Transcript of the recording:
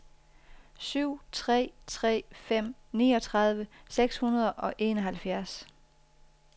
syv tre tre fem niogtredive seks hundrede og enoghalvfjerds